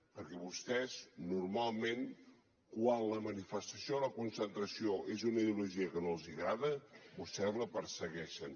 perquè vostès normalment quan la manifestació o la concentració és d’una ideologia que no els agrada vostès la persegueixen